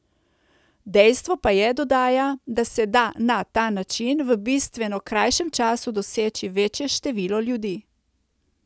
Dejstvo pa je, dodaja, da se da na ta način v bistveno krajšem času doseči večje število ljudi.